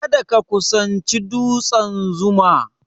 Kada ka kusanci dutsen 'Zuma'!